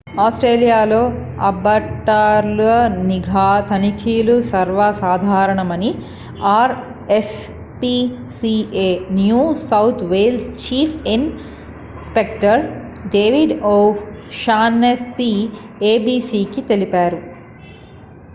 ఆస్ట్రేలియాలో అబాట్టర్ల నిఘా తనిఖీలు సర్వసాధారణమని R S PCA New South Wales chief inspector David O Shaughnessy ఏబీసీకి తెలిపారు